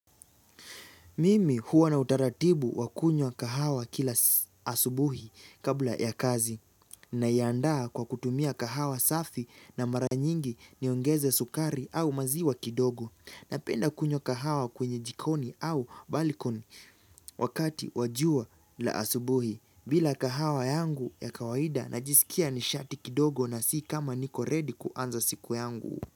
Mimi huwa na utaratibu wakunywa kahawa kila asubuhi kabla ya kazi naiandaa kwa kutumia kahawa safi na mara nyingi niongeze sukari au maziwa kidogo napenda kunywa kahawa kwenye jikoni au balikon wakati wa jua la asubuhi bila kahawa yangu ya kawaida najisikia nishati kidogo na si kama niko ready kuanza siku yangu.